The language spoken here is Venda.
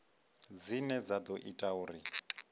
dzine dza ḓo ita uri